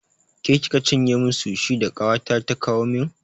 Ke kika cinye min sushi da ƙawata ta kawo min?